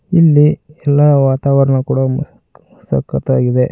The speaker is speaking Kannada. ಇಲ್ಲಿ ಎಲ್ಲಾ ವಾತಾವರಣ ಕೂಡ ಮು ಕ್ ಸಕತ್ತಾಗಿದೆ.